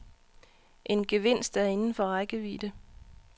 En gevinst er inden for rækkevidde.